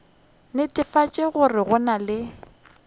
netefatša gore go na le